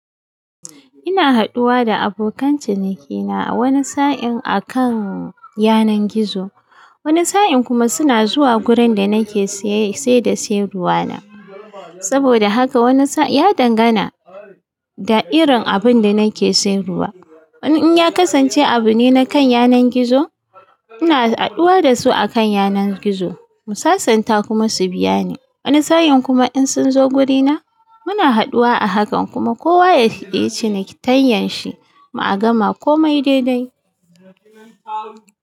Ina haduwa da abokan cinikina wani sa'in akan yanar gizo. Wani sa'in kuma suna zuwa wurin da nake saye sai da sayar ruwa na. Saboda haka wani sa'in ya dangana da irin abin da nake sayarwa. Wani in ya kasance abu ne na kan yanar gizo, ina haduwa da su akan yanar gizo. Mu sasanta kuma su biya ni. Wani sa'in kuma in sun zo wurina, muna haduwa a hakan kuma kowa yayi cinikayyan shi, mu a gama komai daidai.